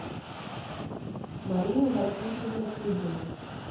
марину васильевну кузину